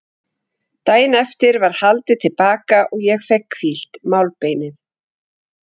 Daginn eftir var haldið til baka og ég fékk hvílt málbeinið.